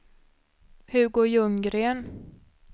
Hugo Ljunggren